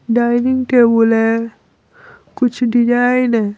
Dining table है कुछ design है।